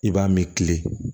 I b'a min kile